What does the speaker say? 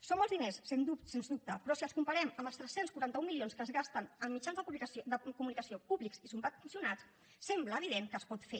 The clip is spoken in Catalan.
són molts diners sens dubte però si els comparem amb els tres cents i quaranta un milions que es gasten en mitjans de comunicació públics i subvencionats sembla evident que es pot fer